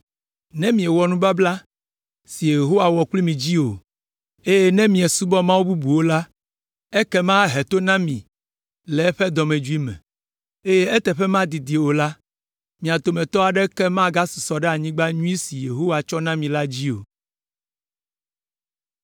Ne miewɔ nubabla si Yehowa wɔ kpli mi dzi o, eye ne miesubɔ Mawu bubuwo la, ekema ahe to na mi le eƒe dɔmedzoe me, eye eteƒe madidi o la, mia dometɔ aɖeke magasusɔ ɖe anyigba nyui si Yehowa tsɔ na mi la dzi o.”